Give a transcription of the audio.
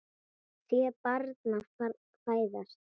Sé barn fæðast.